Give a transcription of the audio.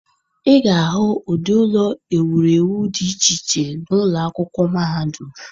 Ị ga-ahụ ụdị ụlọ ewurewu dị iche iche n'ụlọ akwụkwọ mahadum.